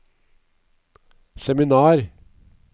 seminar